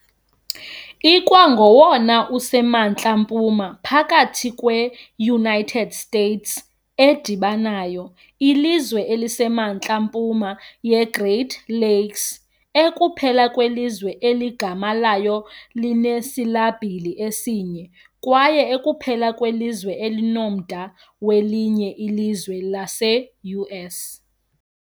Ikwangowona usemantla mpuma phakathi kwe- United States edibanayo, ilizwe elisemantla empuma yeGreat Lakes, ekuphela kwelizwe eligama layo linesilabhili esinye, kwaye ekuphela kwelizwe elinomda welinye ilizwe lase-US.